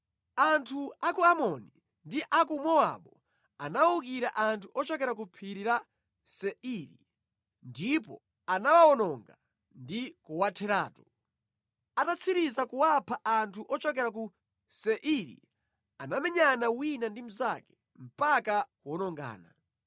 Anthu a ku Amoni ndi a ku Mowabu anawukira anthu ochokera ku Phiri la Seiri, ndipo anawawononga ndi kuwatheratu. Atatsiriza kuwapha anthu ochokera ku Seiri anamenyana wina ndi mnzake mpaka kuwonongana.